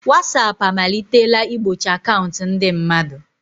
Watsap amalitela igbochi akaụntụ ndị mmadụ.